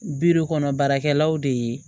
Bidu kɔnɔ baarakɛlaw de ye